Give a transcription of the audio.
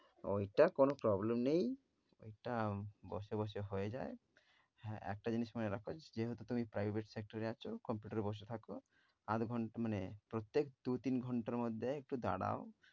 ঐটা কোন prpblem নেই। ঐটা বসে বসে হয়ে যায়। হ্যাঁ একটা জিনিস মনে রাখ যে যেহেতু তুমি private sector এ আছ computer এ বসে থাক আধ ঘণ্টা মানে প্রত্যেক দু' তিন ঘণ্টার মধ্যে একটু দাঁড়াও,